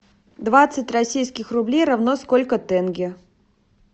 двадцать российских рублей равно сколько тенге